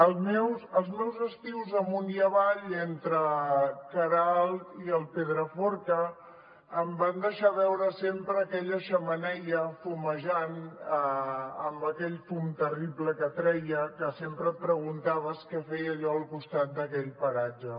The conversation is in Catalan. els meus estius amunt i avall entre queralt i el pedraforca em van deixar veure sempre aquella xemeneia fumejant amb aquell fum terrible que treia que sempre et preguntaves què feia allò al costat d’aquell paratge